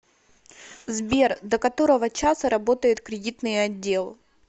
сбер до которого часа работает кредитный отдел